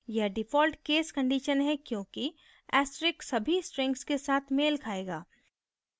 यह default case condition है क्योंकि asterisk सभी strings के साथ मेल खायेगा